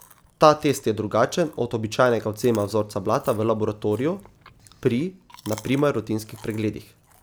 Ta test je drugačen od običajnega odvzema vzorca blata v laboratoriju, pri, na primer, rutinskih pregledih.